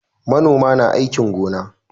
Manoma na aikin gona